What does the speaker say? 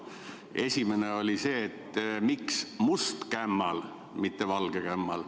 Esimene oli see, miks must kämmal, mitte valge kämmal.